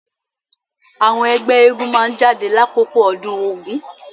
Àwọn ẹgbẹ́ eégún máa jáde lákòókò ọdún Ògún.